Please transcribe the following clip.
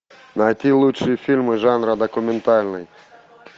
найти лучшие фильмы жанра документальный